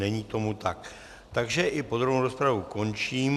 Není tomu tak, takže i podrobnou rozpravu končím.